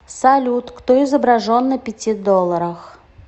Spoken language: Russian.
салют кто изображен на пяти долларах